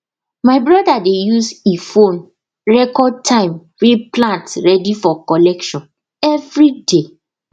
my brother dey use he phone record time way plant ready for collection everyday